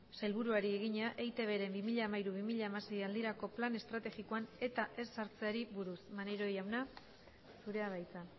sailburuari egina eitbren bi mila hamairu bi mila hamasei aldirako plan estrategikoan eta ez sartzeari buruz maneiro jauna zurea da hitza